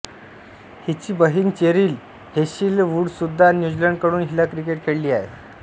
हिची बहिण चेरिल हेंशीलवूडसुद्धा न्यूझीलंडकडून महिला क्रिकेट खेळली आहे